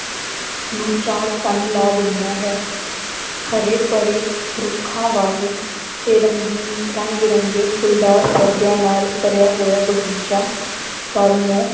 ਨੂੰ ਚਾਰ ਚੰਦ ਲਾ ਦਿੰਦਾ ਹੈ ਹਰੇ ਭਰੇ ਰੁੱਖਾਂ ਵਾਲੇ ਤੇ ਰੰਗੀਨ ਰੰਗ ਬਿਰੰਗੇ ਫੁੱਲਦਾਰ ਪੌਦਿਆਂ ਨਾਲ ਭਰਿਆ ਹੋਇਆ ਬਗ਼ੀਚਾ ਘਰ ਨੂੰ